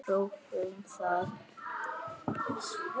Prófum það.